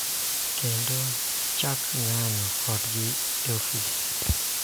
Kendo chak ng�anjo kodgi e ofis.